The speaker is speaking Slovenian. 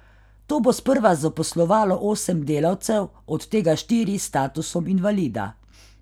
To bo sprva zaposlovalo osem delavcev, od tega štiri s statusom invalida.